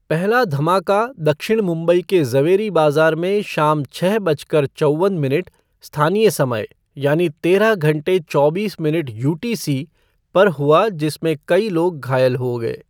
पहला धमाका दक्षिण मुंबई के ज़वेरी बाज़ार में शाम छः बज कर चौवन मिनट स्थानीय समय यानी तेरह घंटे चौबीस मिनट यूटीसी, पर हुआ जिसमें कई लोग घायल हो गए।